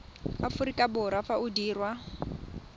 aforika borwa fa o dirwa